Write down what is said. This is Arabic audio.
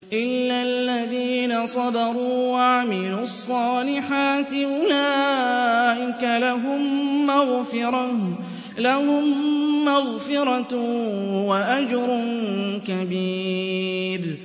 إِلَّا الَّذِينَ صَبَرُوا وَعَمِلُوا الصَّالِحَاتِ أُولَٰئِكَ لَهُم مَّغْفِرَةٌ وَأَجْرٌ كَبِيرٌ